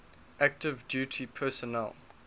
active duty personnel